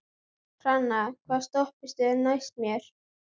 Hrannar, hvaða stoppistöð er næst mér?